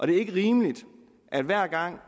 det er ikke rimeligt at hver gang